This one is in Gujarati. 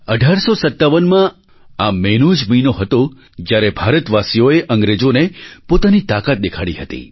1857માં આ મેનો જ મહિનો હતો જ્યારે ભારતવાસીઓએ અંગ્રેજોને પોતાની તાકાત દેખાડી હતી